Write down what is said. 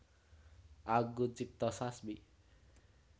Anggun Cipta Sasmi